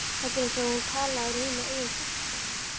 Þetta er eins og talað úr mínu eigin hjarta.